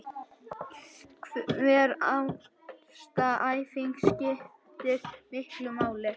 Hver einasta æfing skiptir miklu máli